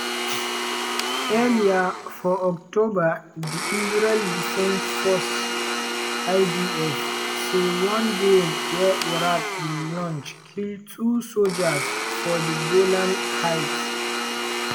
earlier for october di israel defense forces (idf) say one drone wey iraq bin launch kill two sojas for di golan heights.